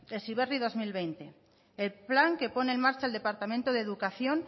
heziberri dos mil veinte el plan que pone en marcha el departamento de educación